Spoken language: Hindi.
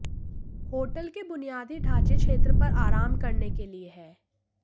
होटल के बुनियादी ढांचे क्षेत्र पर आराम करने के लिए है